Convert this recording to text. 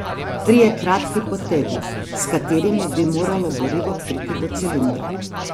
Trije kratki potegi, s katerimi bi moralo gorivo priti do cilindra.